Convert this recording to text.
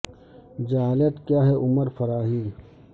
جہالت کیا ہے عمر فراھی